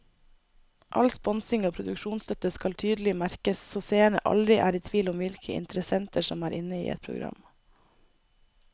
All sponsing og produksjonsstøtte skal tydelig merkes så seerne aldri er i tvil om hvilke interessenter som er inne i et program.